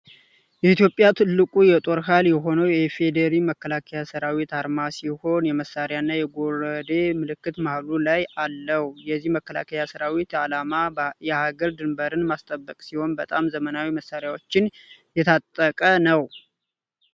በኢትዮጵያ ትልቁ የጦር ኃይል የሆነው የኢፌዲሪ መከላከያ ሰራዊት አርማ ሲሆን የመሣሪያና የጎረዴ ምልክት መሃሉ ላይ አለው። የዚህ መከላከያ ሰራዊት ዓላማ የሀገር ድንበርን ማስጠበቅ ሲሆን በጣም ዘመናዊ መሳሪያዎችን የጣጠቀ ነው።